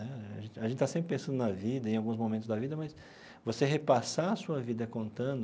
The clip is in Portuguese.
Né a gente está sempre pensando na vida, em alguns momentos da vida, mas você repassar a sua vida contando,